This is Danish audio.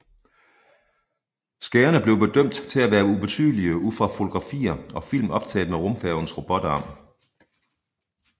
Skaderne blev bedømt til at være ubetydelige ud fra fotografier og film optaget med rumfærgens robotarm